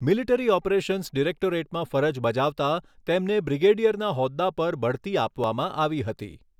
Military operations ડિરેક્ટોરેટમાં ફરજ બજાવતા તેમને બ્રિગેડિયરના હોદ્દા પર બઢતી આપવામાં આવી હતી.